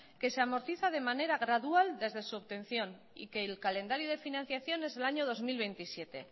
que se amortiza de manera gradual desde su obtención y que el calendario de financiación es del año dos mil veintisiete